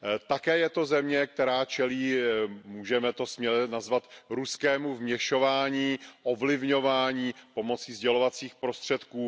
Také je to země, která čelí, můžeme to směle nazvat, ruskému vměšování, ovlivňování pomocí sdělovacích prostředků.